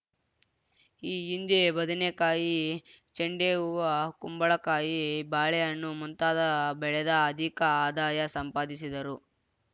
ಈ ಹಿಂದೆ ಬದನೆಕಾಯಿ ಚೆಂಡೆ ಹೂ ಕುಂಬಳಕಾಯಿ ಬಾಳೆಹಣ್ಣು ಮುಂತಾದ ಬೆಳೆದ ಅಧಿಕ ಆದಾಯ ಸಂಪಾದಿಸಿದ್ದರು